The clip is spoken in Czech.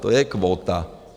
To je kvóta.